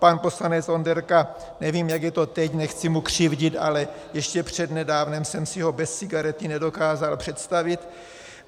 Pan poslanec Onderka, nevím, jak je to teď, nechci mu křivdit, ale ještě přednedávnem jsem si ho bez cigarety nedokázal představit.